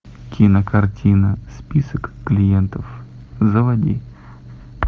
кинокартина список клиентов заводи